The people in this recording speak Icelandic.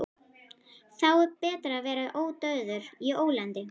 Þá er betra að vera ódauður í ólandi.